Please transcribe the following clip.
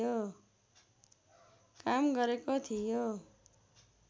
काम गरेको थियो